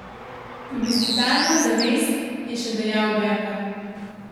Plebiscitarno zavest, je še dejal Bervar.